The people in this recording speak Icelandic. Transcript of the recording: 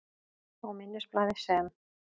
Á minnisblaði, sem